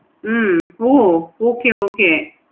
hmm oh okay okay